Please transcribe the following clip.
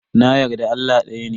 Na yarda Allah daya ne.